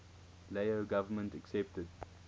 lao government accepted